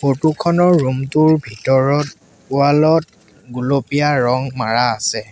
Photo খনৰ room টোৰ ভিতৰত ৱাল ত গুলপীয়া ৰং মাৰা আছে।